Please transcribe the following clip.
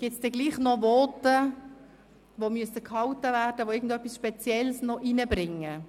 Gibt es Voten, die dennoch gehalten werden müssen, weil sie irgendetwas Spezielles zur Diskussion beitragen?